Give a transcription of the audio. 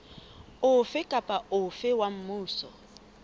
ofe kapa ofe wa mmuso